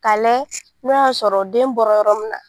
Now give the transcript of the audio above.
Ka layɛ n'o y'a sɔrɔ den bɔra yɔrɔ min na